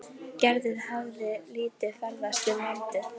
Gerður hafði lítið ferðast um landið.